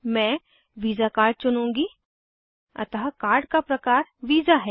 मैं Visa card चुनुँगी अतः कार्ड का प्रकार वीसा है